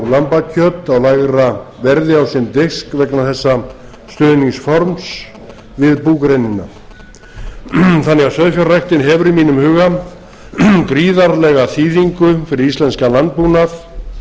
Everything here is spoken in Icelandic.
lambakjöt á lægra verði á sinn disk vegna þessa stuðningsforms við búgreinina þann að sauðfjárræktin hefur í mínum huga gríðarlega þýðingu fyrir íslenskan landbúnað